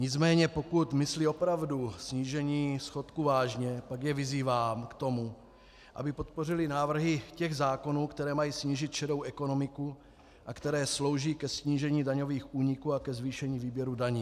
Nicméně pokud myslí opravdu snížení schodku vážně, pak je vyzývám k tomu, aby podpořili návrhy těch zákonů, které mají snížit šedou ekonomiku a které slouží ke snížení daňových úniků a ke zvýšení výběru daní.